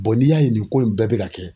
n'i y'a ye nin ko in bɛɛ be ka kɛ